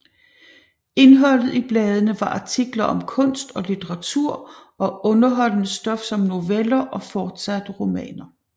Indholdet i bladene var artikler om kunst og litteratur og underholdende stof som noveller og forsatte romaner